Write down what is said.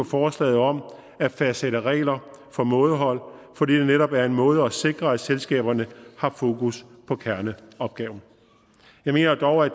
forslaget om at fastsætte regler for mådehold fordi det netop er en måde at sikre at selskaberne har fokus på kerneopgaven jeg mener dog at